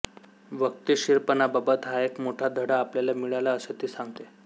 वक्तशीरपणाबाबत हा एक मोठा धडा आपल्याला मिळाला असे ती सांगते